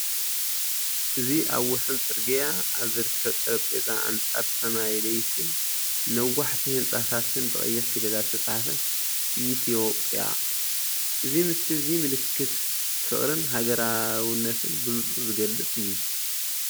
እዚ ኣብ ወሰን ጽርግያ ኣብ ዝርከብ ጠረጴዛ ኣንጻር ሰማይ ለይቲን ነዋሕቲ ህንጻታትን ብቐይሕ ፊደላት ዝተጻሕፈ "ኤትዮ❤ጵያ"። እዚ ምስሊ እዚ ምልክት ፍቕርን ሃገራውነትን ብንጹር ዝገልጽ እዩ።